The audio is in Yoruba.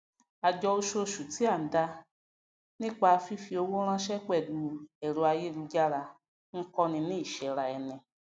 àjọ ososù tí à n dá nípa fífi owó ránsé pèlú èrọ ayélujára n kó ni ní ìséra eni